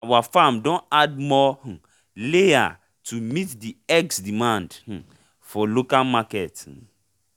our farm don add more um layer to meet the eggs demand um for local market um